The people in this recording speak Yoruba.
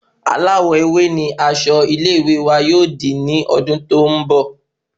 Aláwò ewé ni asọ ilé ìwé wa yóò di ni odun tó n bọ